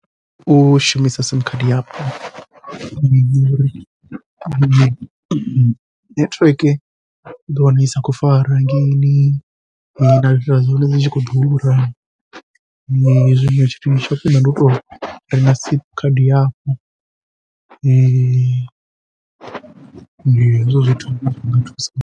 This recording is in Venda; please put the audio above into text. U shumisa simu khadi yapo, ngori nethiweke uḓo wana i sa khou fara hangeini na data dza hone dzi tshi ḓura tsha khwiṋe ndi u tou renga simu khadi hafhu ndi hezwo zwithu zwi nga thusa.